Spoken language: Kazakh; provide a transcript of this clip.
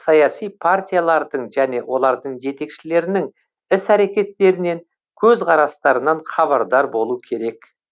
саяси партиялардың және олардың жетекшілерінің іс әрекеттерінен көзқарастарынан хабардар болу керек